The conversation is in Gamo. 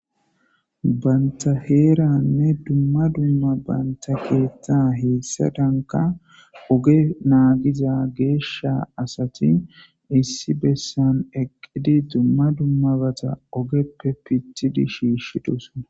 Banta heeranne dumma dumma banta keeththa heessa danka oge naagiza geesha asati issi bessan eqqidi dumma dummabata ogeppe pithidi shiishiduson.